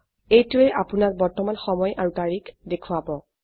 এইটোৱে আপোনক বৰ্তমান সময় আৰু তাৰিখ দেখোৱাব